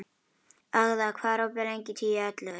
Agða, hvað er opið lengi í Tíu ellefu?